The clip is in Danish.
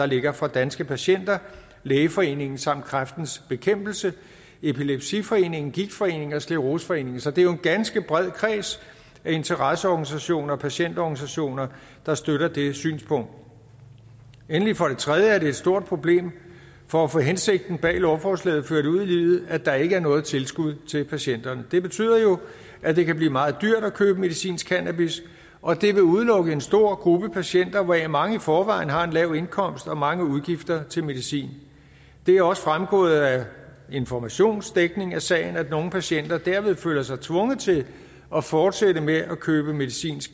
ligger fra danske patienter lægeforeningen samt kræftens bekæmpelse epilepsiforeningen gigtforeningen og scleroseforeningen så det er jo en ganske bred kreds af interesseorganisationer og patientorganisationer der støtter det synspunkt endelig for det tredje er det et stort problem for at få hensigten bag lovforslaget ført ud i livet at der ikke er noget tilskud til patienterne det betyder jo at det kan blive meget dyrt at købe medicinsk cannabis og det vil udelukke en stor gruppe af patienter hvoraf mange i forvejen har en lav indkomst og mange udgifter til medicin det er også fremgået af informations dækning af sagen at nogle patienter derved føler sig tvunget til at fortsætte med at købe medicinsk